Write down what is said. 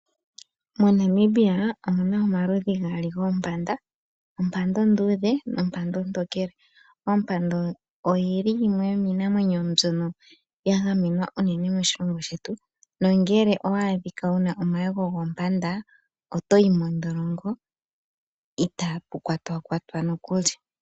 MoNamibia omuna omaludhi gaali goompanda, omapanda onduudhe nompanda ontokele. Ompanda oyili yimwe yoominamwenyo mbyoka yagamenwa moshilongo shetu nongele owa adhika wuna omayego gompanda otoyi mondholongo ita pukwatwakwatwa nokuli.